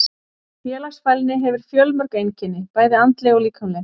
Félagsfælni hefur fjölmörg einkenni, bæði andleg og líkamleg.